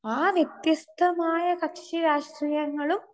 speaker 2 ആ വ്യത്യസ്ഥമായ കക്ഷിരാഷ്ട്രീയങ്ങളും